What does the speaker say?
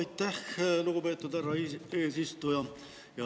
Aitäh, lugupeetud härra eesistuja!